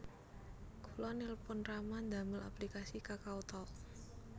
Kula nelpon rama ndamel aplikasi KakaoTalk